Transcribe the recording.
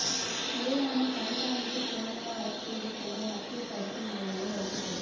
முறையான கண்காணிப்பு கேமிரா வசதிகளைக் கொண்ட மத்திய தடுப்பு மய்யங்கள் வைக்கப்பட